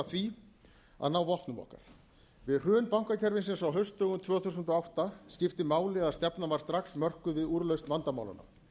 því að ná vopnum okkar við hrun bankakerfisins á haustdögum tvö þúsund og átta skipti máli að stefnan var strax mörkuð við úrlausn vandamálanna